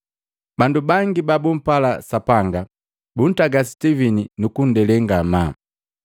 Bandu bangi babumpala Sapanga buntaga Sitivini nukunndele ngamaa.